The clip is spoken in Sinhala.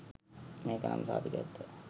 මේකනම් සහතික ඇත්ත